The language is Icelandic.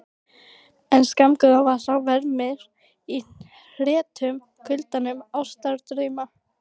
En skammgóður er sá vermir í hretum kulnandi ástardrauma.